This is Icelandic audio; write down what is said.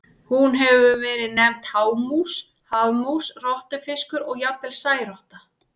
Hún hefur verið nefnd hámús, hafmús, rottufiskur og jafnvel særotta.